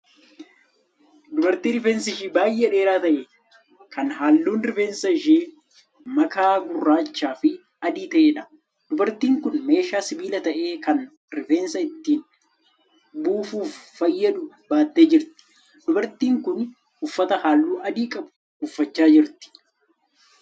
Dubartii rifeensi ishee baay'ee dheeraa ta'e kan halluun rifeensa ishee makaa gurraachaa fi adii ta'eedha. Dubartiin kun meeshaa sibiila ta'e kan rifeensa ittiin buufuuf fayyadu baattee jirti. Dubartiin kun uffata halluu adii qabu uffachaa jirti.